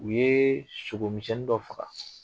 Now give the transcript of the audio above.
U ye sogomisɛnnin dɔ faga